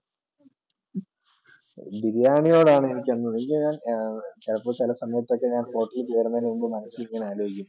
ബിരിയാണിയോടാണ് എനിക്ക് ചിലപ്പോൾ ചില സമയത്തൊക്കെ hotel കളിൽ കയറുന്നതിനു മുൻപ് ചിലപ്പോൾ മനസ്സിൽ ആലോചിക്കും